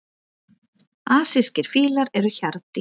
Asískir fílar eru hjarðdýr.